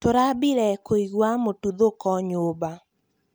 tũrambire kũĩgũa mũtũthũko nyũmba